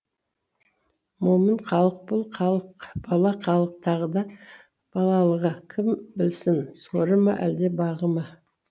момын халық бұл халық бала халық тағы да балалығы кім білсін соры ма әлде бағы ма